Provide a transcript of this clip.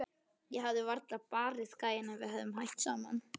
Ég hefði varla barið gæjann ef við værum hætt saman.